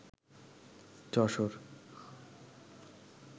Jessore